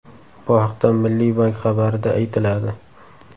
Bu haqda Milliy bank xabarida aytiladi .